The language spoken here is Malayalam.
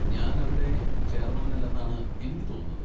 ഞാൻ അവിടെ ചേർന്നവനല്ലെന്നാണ് എനിക്ക് തോന്നുന്നത്.